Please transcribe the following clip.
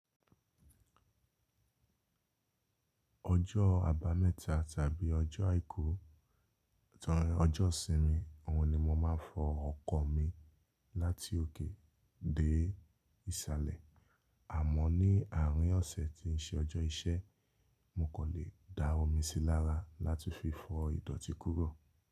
Ọjọ́ abameta tàbí ọjọ́ àìkú, torí ọjọ́ ìsinmi, òun ni mo máa ń fọ ọkọ̀ mi láti òkè dé ìsàlẹ̀. Àmọ́ ní àárín ọ̀sẹ̀ tí ń ṣe ọjọ́ iṣẹ́, mo kò lè dára omi sí lára láti fi fọ ìdọ̀tí kúrò.